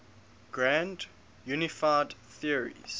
grand unified theories